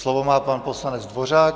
Slovo má pan poslanec Dvořák.